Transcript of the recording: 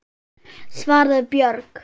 svaraði Björg.